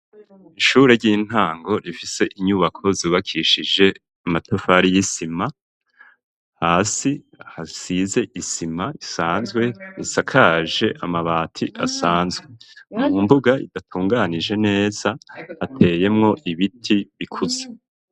Ishure ry'intango rifise inyubako zubakishije amatafari y'isima hasi ahasize isima isanzwe isakaje amabati asanzwe , mu mbuga idatunganije neza ateyemwo ibiti bikuze.